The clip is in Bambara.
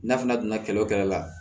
N'a fana donna kɛlɛ o kɛlɛ la